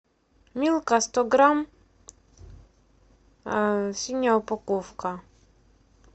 милка сто грамм синяя упаковка